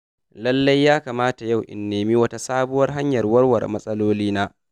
lallai yakamata yau in nemi wata sabuwar hanyar warware matsalolina.